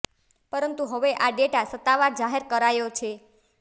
પરંતુ હવે આ ડેટા સત્તાવાર જાહેર કરાયો છે